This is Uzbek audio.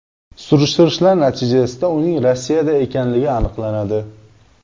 Surishtirishlar natijasida uning Rossiyada ekanligi aniqlanadi.